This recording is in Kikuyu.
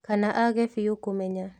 Kana age biũ kũmenya